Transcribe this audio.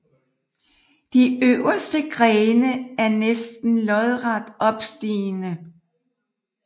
De øverste grene er næsten lodret opstigende